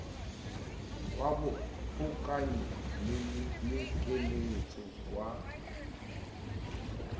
wa bohokanyi le keletso wa